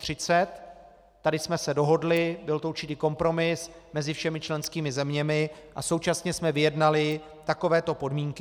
Tady jsme se dohodli, byl to určitý kompromis mezi všemi členskými zeměmi, a současně jsme vyjednali takovéto podmínky.